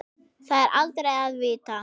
Það er aldrei að vita?